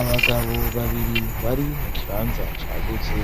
Abagabo babiri bari mu kibanza cagutse,